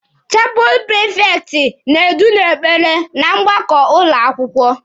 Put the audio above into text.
Chapụlụ prifekti na-edu n'ekpere na mgbakọ ụlọ akwụkwọ.